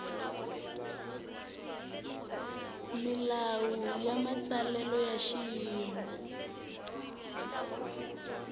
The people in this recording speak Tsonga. milawu ya matsalelo hi xiyimo